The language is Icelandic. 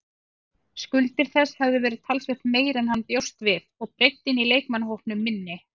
Skuldir þess hefðu verið talsvert meiri en hann bjóst við og breiddin í leikmannahópnum minni.